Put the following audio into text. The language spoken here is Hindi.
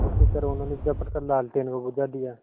उसी तरह उन्होंने झपट कर लालटेन को बुझा दिया